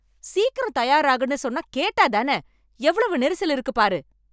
சீக்கிரம் தயாராகுன்னு சொன்னா கேட்டா தான! எவ்வளவு நெரிசல் இருக்குப், பாரு!